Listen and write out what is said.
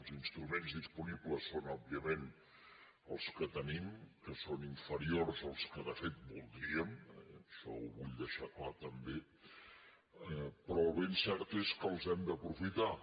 els instruments disponibles són òbviament els que tenim que són inferiors als que de fet voldríem ai·xò ho vull deixar clar també però el ben cert és que els hem d’aprofitar